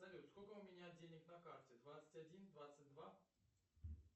салют сколько у меня денег на карте двадцать один двадцать два